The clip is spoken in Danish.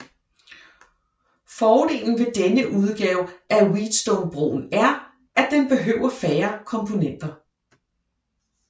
Fordelen ved denne udgave af Wheatstonebroen er at den behøver færre komponenter